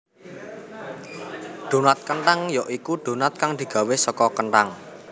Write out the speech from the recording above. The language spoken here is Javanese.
Donat kenthang ya iku donat kang digawé saka kenthang